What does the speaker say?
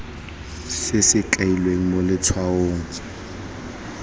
se se kailweng mo letshwaong